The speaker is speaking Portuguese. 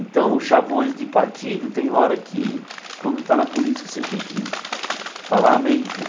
Então, os chavões de partido tem hora que, quando está na política, você tem que falar amém né.